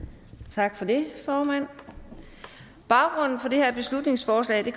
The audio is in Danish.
tak for det formand baggrunden for det her beslutningsforslag